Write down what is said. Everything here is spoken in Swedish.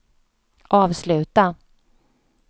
avsluta